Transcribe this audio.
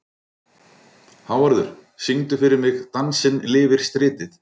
Hávarður, syngdu fyrir mig „Dansinn lifir stritið“.